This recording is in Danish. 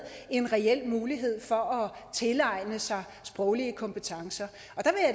en reel mulighed for at tilegne sig sproglige kompetencer